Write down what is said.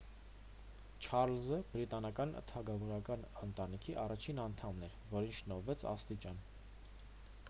չառլզը բրիտանական թագավորական ընտանիքի առաջին անդամն էր որին շնորհվեց աստիճան